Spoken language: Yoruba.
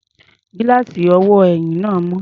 Gíláàsì ọwọ́ ẹ̀yìn náà mọ́.